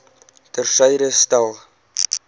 ter syde stel